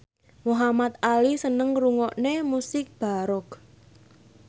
Muhamad Ali seneng ngrungokne musik baroque